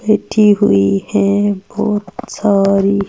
बैठी हुई है बहुत साल--